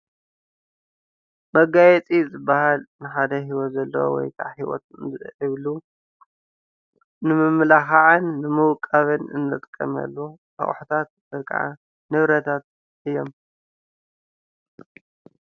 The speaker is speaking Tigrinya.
መጋየፂ ዝበሃል ንሓደ ህይወት ዘለዎ ወይ ከዓ ህይወት ዘይብሎም ንምምልካዕን ንምውቃብን እንጥቀመሎም ኣቁሑታትን ወይ ከዓ ንብረታት እዮም።